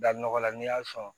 Da nɔgɔla n'i y'a sɔn